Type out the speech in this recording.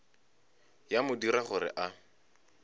ya mo dira gore a